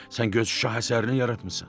Sən göz şah əsərini yaratmısan.